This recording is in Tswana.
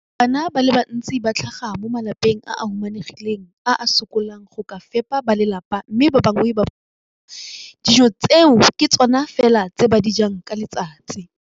Bana ba le bantsi ba tlhaga mo malapeng a a humanegileng a a sokolang go ka fepa ba lelapa mme ba bangwe ba barutwana, dijo tseo ke tsona fela tse ba di jang ka letsatsi.